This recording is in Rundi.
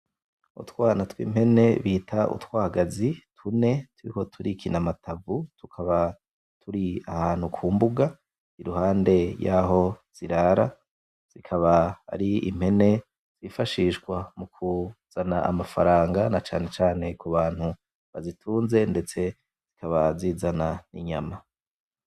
Utwana tw' impene bita utwagazi tune turiko turikina amatavu tukaba turi kumbuga iruhande yaho zirara zikaba ari impene zifashishwa mukuzana amafaranga na cane cane kubantu bazitunze ndetse zikaba zizana n' inyama.